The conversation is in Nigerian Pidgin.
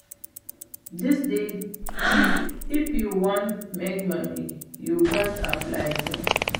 Dis days if you wan make money you gats apply sense